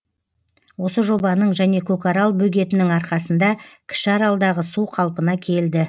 осы жобаның және көкарал бөгетінің арқасында кіші аралдағы су қалпына келді